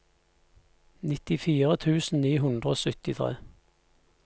nittifire tusen ni hundre og syttitre